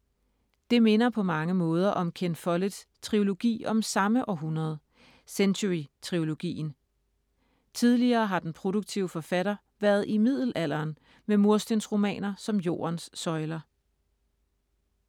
Det minder på mange måder om Ken Folletts trilogi om samme århundrede, Century-trilogien. Tidligere har den produktive forfatter været i middelalderen med murstensromaner som Jordens søjler.